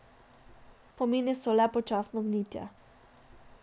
Spomini so le počasno gnitje.